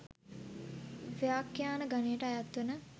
ව්‍යාඛ්‍යාන ගණයට අයත් වන